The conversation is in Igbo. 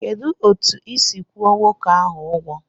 Kedụ etu isi kwụọ nwoke ahụ ụgwọ?